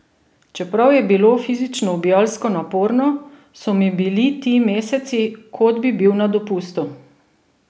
Čeprav je bilo fizično ubijalsko naporno, so mi bili ti meseci, kot bi bil na dopustu!